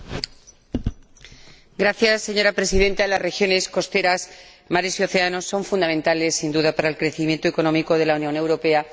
Señora Presidenta, las regiones costeras, los mares y los océanos son fundamentales, sin duda, para el crecimiento económico de la Unión Europea y de todos sus Estados miembros.